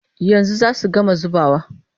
Yanzu za su gama zubawa.